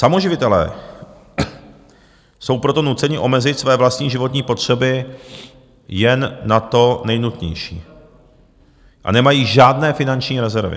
Samoživitelé jsou proto nuceni omezit své vlastní životní potřeby jen na to nejnutnější a nemají žádné finanční rezervy.